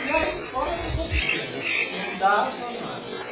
E a escola ficou pequena, não dava mais.